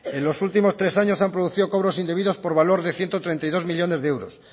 en los últimos tres años se han producido cobros indebidos por valor de ciento treinta y dos millónes de euros